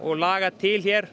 laga til hér